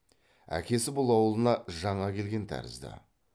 әкесі бұл аулына жаңа келген тәрізді